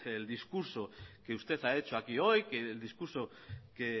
el discurso que usted ha hecho aquí hoy el discurso que